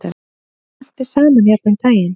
Þeim lenti saman hérna um daginn.